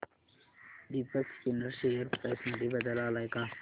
Deepak spinners share price मध्ये बदल आलाय का